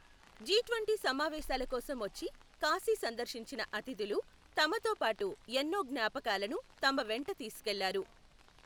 G twenty సమావేశాల కోసం వచ్చి కాశీ సందర్శించిన అతిథులు తమతోపాటు ఎన్నో జ్ఞ్యాపకాలను తమ వెంట తీసుకెళ్లారు.